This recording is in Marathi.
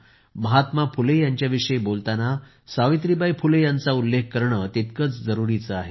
महात्मा फुले यांच्याविषयी बोलताना सावित्रीबाई फुले यांचा उल्लेख करणं तितकंच जरूरीचं आहे